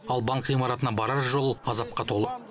ал банк ғимаратына барар жол азапқа толы